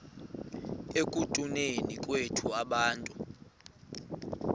ekutuneni kwethu abantu